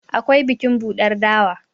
akwai bikin buɗar dawa